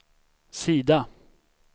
sida